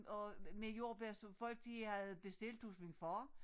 Og med jordbær som folk de havde bestilt hos min far